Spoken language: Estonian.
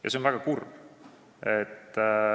Ja see on väga kurb.